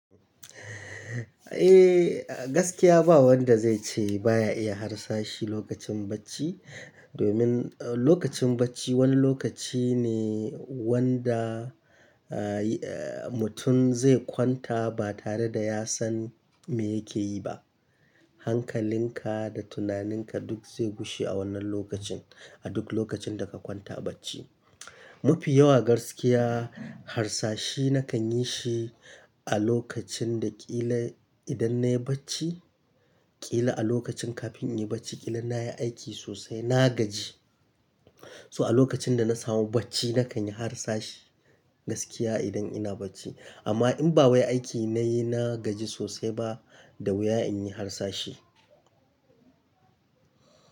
Eh gaskiya ba wanda zai ce baya iya harsashi lokacin bacci, domin lokacin bacci wani lokaci ne wanda mutum zai kwanta ba tare da ya san me yake yi ba. Hankalin ka da tunaninka duk zai gushe a wannan lokacin, a duk lokacin da ka kwanta bacci. Mafi yawa gaskiya harsashi na kan yi shi a lokacin da ƙila idan nayi bacci, ƙila a lokacin kafin in yi bacci ƙila nayi aiki sosai na gaji. So a lokacin da na samu bacci na kan yi harsashi gaskiya idan ina bacci. Amma in ba wai aiki nayi na gaji sosai ba, da wuya in yi harsashi.